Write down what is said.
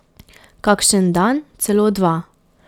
Kakšen dan celo dva.